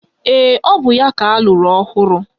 Ee, ọ bụ ya ka alụrụ ọhụrụ